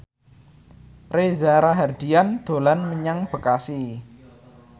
Reza Rahardian dolan menyang Bekasi